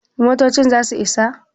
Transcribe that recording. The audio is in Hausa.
motocin za su Isa?